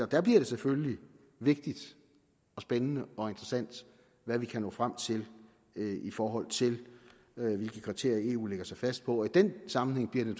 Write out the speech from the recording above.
der bliver det selvfølgelig vigtigt og spændende og interessant hvad vi kan nå frem til i forhold til hvilke kriterier eu lægger sig fast på i den sammenhæng bliver det